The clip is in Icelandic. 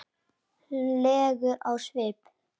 legur á svip.